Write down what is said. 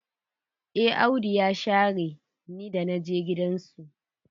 Eh Audu ya share ni da naje gidan su.